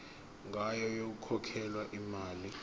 ngayo yokukhokhela imali